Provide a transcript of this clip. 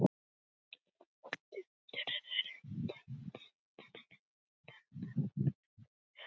byrjaði Sveinn en Lóa tók fram í fyrir honum